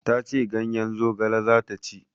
Ta ce ganyen zogale za ta ci.